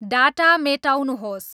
data मेटाउनुोहस्